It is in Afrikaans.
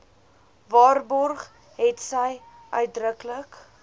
waarborg hetsy uitdruklik